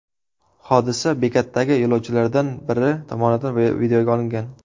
Hodisa bekatdagi yo‘lovchilardan biri tomonidan videoga olingan.